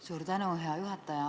Suur tänu, hea juhataja!